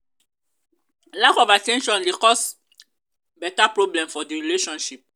lack of at ten tion de cause beta problem for di relationship